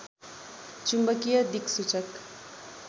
चुम्बकीय दिक्सूचक